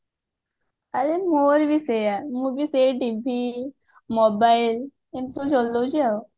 ଆରେ ମୋର ବି ସେୟା ମୁ ବି ସେଇ TV mobile ଏମିତି ସବୁ ଚଳଉଛି ଆଉ